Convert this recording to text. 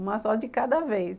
Uma só de cada vez.